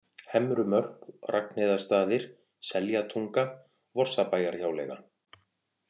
Hemrumörk, Ragnheiðarstaðir, Seljatunga, Vorsabæjarhjáleiga